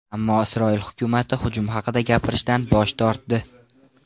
Ammo Isroil hukumati hujum haqida gapirishdan bosh tortdi.